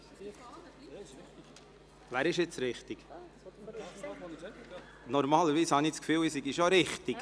Ich habe das Gefühl, ich läge normalerweise richtig.